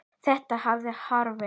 Þetta hafði áhrif.